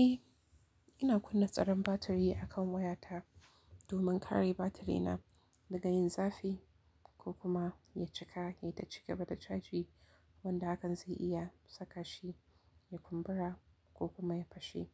Eh, ina kunna tsaron batiri akan waya ta, domin kare batiri na daga yin zafi ko kuma ya cika yayi ta cigaba da caji wanda hakan ze iya saka shi ya kumbura ko kuma ya fashe.